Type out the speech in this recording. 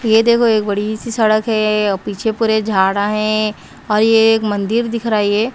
ये देखो एक बड़ी सी सड़क है पीछे पूरे झाड़ा हैं और ये एक मंदिर दिख रहा ये--